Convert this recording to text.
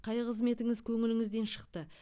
қай қызметіңіз көңіліңізден шықты